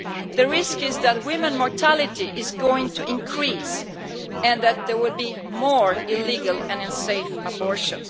The risk is that women's mortality is going to increase and that there will be more illegal and unsafe abortion.